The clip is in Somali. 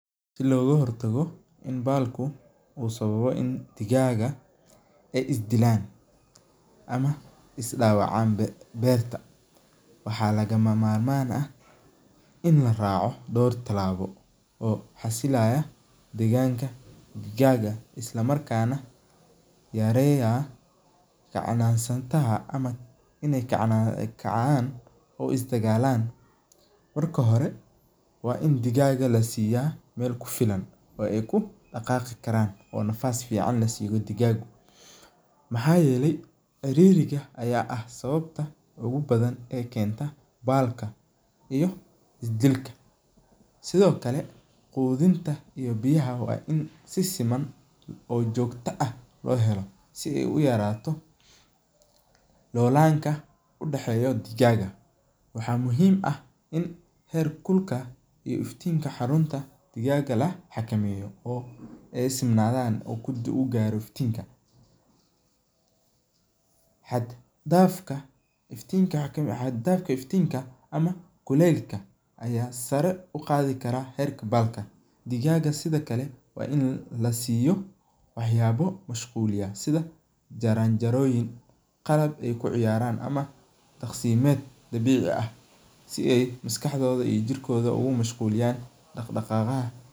Si loga hortaga in balka digagu ee is dilan ama ee isdawacan, waxaa laga mamar man ah in la raco dor tilaba oo xasilaya deganka in ee kacan oo isdagalan, marka hore wain digaga lasiya meel kufilan oo ee ku daqaqi karan oo ee nafas fican lasiyo digagu maxaa yele ciririga aya ah sawabaha ugu badan ee kenta balka iyo isdilka sithokale qudinta in biyaha waa in si siman oo jogto ah lo hela, waxaa muhiim ah in rer kulka teamka xarunta ee digaga la xakameyo in ukunta u garo iftinka xad dafka iftinka waxaa kamiid ah ama kulelka aya sare uqadhi karaa herka balka digaga waa in lasiyo wax yaba mashquliya sitha jaran jaroyin ama daqsi ee ku ciyaran si ee maskaxdodha iyo jirkoda ee u mashquli yan.